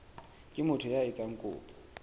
ke motho ya etsang kopo